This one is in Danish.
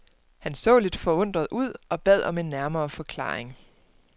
Han så lidt forundret ud og bad om en nærmere forklaring.